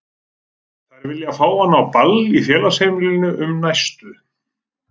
Þær vilja fá hann á ball í Félagsheimilinu um næstu